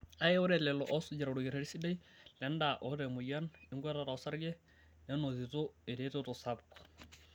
Kkake ore lelo oosujita olkereti sidai lendaa oota emoyian enkuatata osarge nenotito eretoto sapuk.